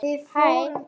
heyrði ég Sölva kalla.